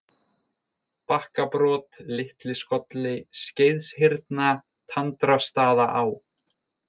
Bakkabrot, Litliskolli, Skeiðshyrna, Tandrastaðaá